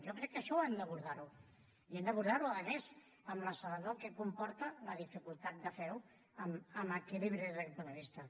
jo crec que això hem d’abordar ho i hem d’abordar ho a més amb la serenor que comporta la dificultat de fer ho amb equilibri des d’aquest punt de vista